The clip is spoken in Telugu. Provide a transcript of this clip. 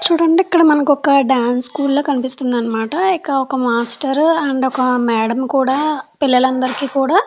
చూడండి ఇక్కడ మనకు ఒక డాన్స్ స్కూల్లో కనిపిస్తుంది అనమాట. ఒక మాస్టర్ అండ్ ఒక మేడం కూడా పిల్లలందరికీ కూడా --